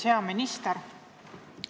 Hea minister!